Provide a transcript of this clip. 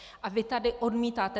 A vy tady odmítáte...